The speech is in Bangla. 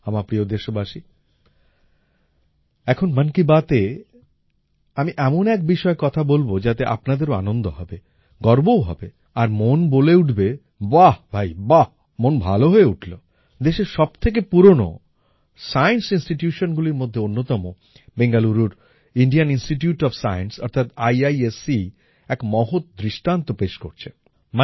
আমার প্রিয় দেশবাসী এখন মন কী বাতএ আমি এমন এক বিষয়ে কথা বলবো যাতে আপনাদের আনন্দও হবে গর্বও হবে আর মন বলে উঠবে বাঃ ভাই বাঃ মন ভালো হয়ে উঠলো দেশের সবথেকে পুরোনো সায়েন্স Institutionগুলির মধ্যে অন্যতম বেঙ্গালুরুর ইন্ডিয়ান ইনস্টিটিউট ওএফ সায়েন্স অর্থাৎ আইআইএসসি এক মহৎ দৃষ্টান্ত পেশ করছে